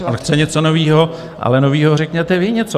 On chce něco nového, ale nového řekněte vy něco.